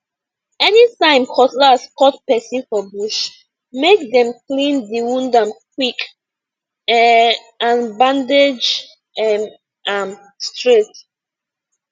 anytime cutlass cut person for bush make dem clean the wound am quick um and bandage um am straight